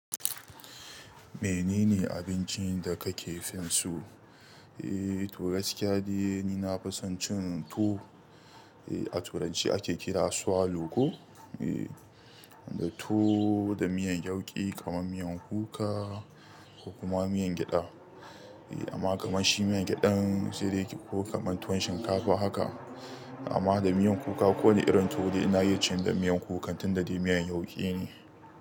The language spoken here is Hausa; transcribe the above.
Menene abincin da kake fin so? Eh, to gaskiya dai ni na fison cin tuwo. Eh, a turanci ake kira swallow ko? Eh, da tuwo da miyan yauƙi kamar miyan kuka ko kuma miyan gyaɗa. Eh, amma kamar shi miyan gyaɗan sai dai ki ko kamar tuwon shinkafa haka. Amma da miyan kuka ko wani irin tu dai ina iya cin da miyan kuka tun da dai miyan yauƙi ne.